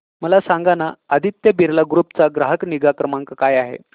मला सांगाना आदित्य बिर्ला ग्रुप चा ग्राहक निगा क्रमांक काय आहे